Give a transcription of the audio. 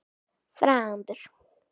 Þrándur